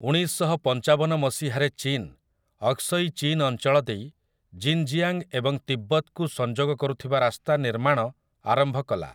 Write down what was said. ଉଣେଇଶଶହପଞ୍ଚାବନ ମସିହାରେ ଚୀନ ଅକ୍ସଇ ଚୀନ୍ ଅଞ୍ଚଳ ଦେଇ ଜିନ୍‌ଜିଆଙ୍ଗ ଏବଂ ତିବ୍ବତକୁ ସଂଯୋଗ କରୁଥିବା ରାସ୍ତା ନିର୍ମାଣ ଆରମ୍ଭ କଲା ।